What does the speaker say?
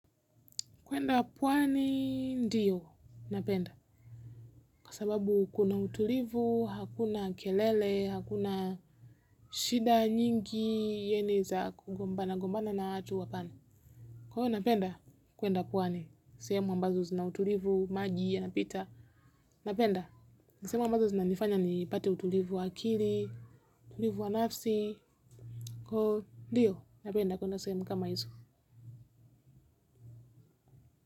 Kuenda puwani ndiyo napenda. Kwa sababu kuna utulivu, hakuna kelele, hakuna shida nyingi Yeni za kugombana gombana na watu pwani. Kwa napenda kuenda puwani. Sehemu ambazo zina utulivu, maji, yanapita. Napenda, nisehemu ambazo zinanifanya nipate utulivu wa akili, tulivu wanafsi. Kwa ndiyo napenda kuenda sehemu kama izo.